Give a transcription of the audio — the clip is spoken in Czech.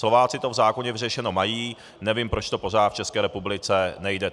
Slováci to v zákoně vyřešeno mají, nevím, proč to pořád v České republice nejde.